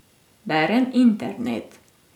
Berem internet.